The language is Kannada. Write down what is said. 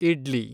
ಇಡ್ಲಿ